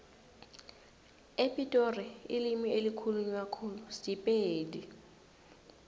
epitori ilimi elikhulunywa khulu sipedi